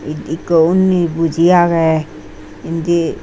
ek ekho unde boji agey inde.